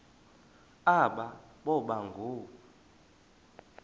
aba boba ngoo